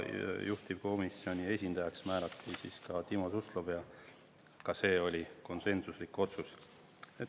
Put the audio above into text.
Juhtivkomisjoni esindajaks määrati Timo Suslov ja ka see oli konsensuslik otsus.